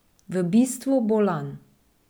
V bistvu bolan.